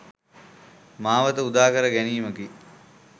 මාවත උදා කර ගැනීමකි.